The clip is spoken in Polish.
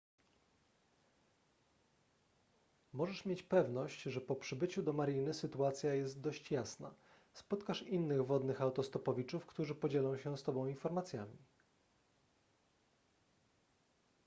możesz mieć pewność że po przybyciu do mariny sytuacja jest dość jasna spotkasz innych wodnych autostopowiczów którzy podzielą się z tobą informacjami